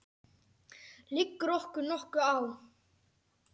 Liggur okkur nokkuð á?